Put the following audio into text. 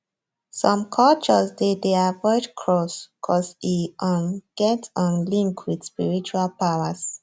some cultures dey dey avoid crows coz e um get um link with spiritual powers